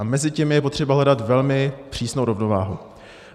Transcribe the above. A mezi těmi je třeba hledat velmi přísnou rovnováhu.